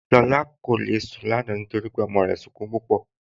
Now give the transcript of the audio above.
Lọla kò le sun ràrà lánà nítorí ọmọ rè ń súnkún púpọ.